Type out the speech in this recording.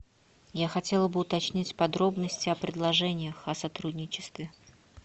я хотела бы уточнить подробности о предложениях о сотрудничестве